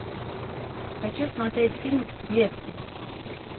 хочу смотреть фильм в клетке